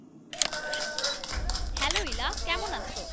Hello Ila,